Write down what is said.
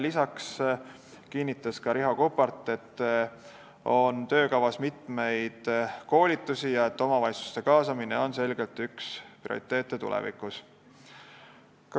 Lisaks kinnitas Riho Kuppart, et töökavas on mitmeid koolitusi ja omavalitsuste kaasamine on tulevikus selgelt üks prioriteete.